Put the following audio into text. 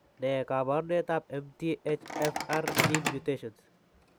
Ne kaabarunetap MTHFR gene mutations?